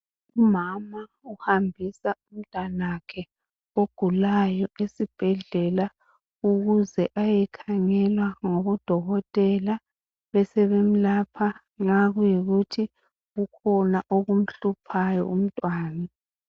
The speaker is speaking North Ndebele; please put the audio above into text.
Umama uhambisa umntwana nakhe ogulayo esibhedlela ukuze ayekhangelwa ngabodokotela besebemlapha nxa kukhona okumhluphayo umntwana